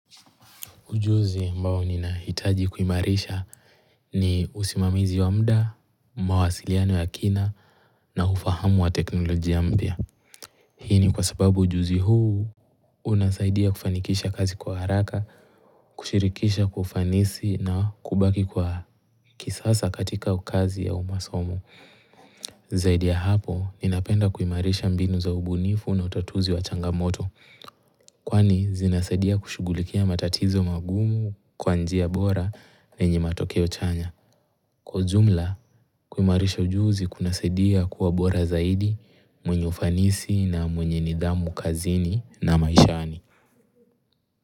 Ujuzi ambao ninahitaji kuimarisha ni usimamizi wa mda, mawasiliano ya kina na ufahamu wa teknolojia mpya. Hii ni kwa sababu ujuzi huu unasaidia kufanikisha kazi kwa haraka, kushirikisha kwa ufanisi na kubaki kwa kisasa katika ukazi au masomo. Zaidi ya hapo, ninapenda kuimarisha mbinu za ubunifu na utatuzi wa changamoto Kwani zinasadia kushugulikia matatizo magumu kwa njia bora yenye matokeo chanya Kwa ujumla, kuimarisha ujuzi kunasaidia kuwa bora zaidi, mwenye ufanisi na mwenye nidhamu kazini na maishani.